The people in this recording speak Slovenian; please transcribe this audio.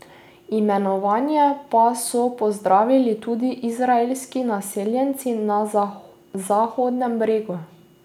Imenovanje pa so pozdravili tudi izraelski naseljenci na Zahodnem bregu.